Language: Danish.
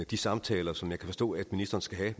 de samtaler som jeg kan forstå at ministeren skal have